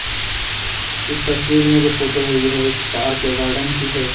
इस तस्वीर में जो फोटो है यह एक पार्क है गार्डन की है।